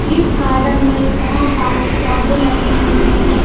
इस गार्डन मे बहोत सारे पौधे लगे हुए है।